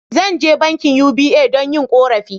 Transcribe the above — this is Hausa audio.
Zan je bankin UBA don yin korafi.